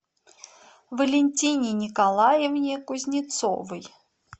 валентине николаевне кузнецовой